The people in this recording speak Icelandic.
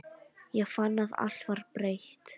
Ég fann að allt var breytt.